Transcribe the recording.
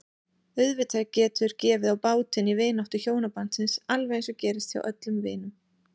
Auðvitað getur gefið á bátinn í vináttu hjónabandsins alveg eins og gerist hjá öllum vinum.